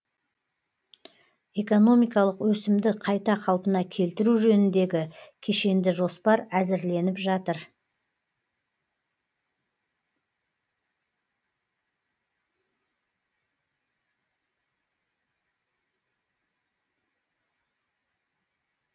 экономикалық өсімді қайта қалпына келтіру жөніндегі кешенді жоспар әзірленіп жатыр